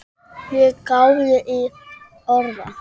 Ég gáði í orða